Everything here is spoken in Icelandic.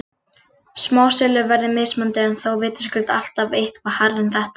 Smásöluverð er mismunandi en þó vitaskuld alltaf eitthvað hærra en þetta.